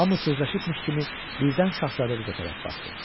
Hamı sözləşibmiş kimi birdən şahzadə qıza tərəf baxdı.